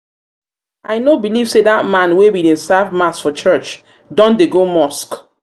no believe say dat man wey bin dey serve mass for church don dey go mosque